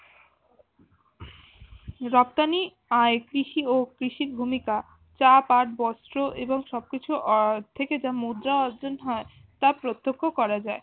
রপ্তানি আয় কৃষি ও কৃষির ভূমিকা চা পাট বস্ত্র এবং সবকিছু আহ থেকে তা যা মুদ্রা অর্জন হয় তা প্রত্যক্ষ করা যায়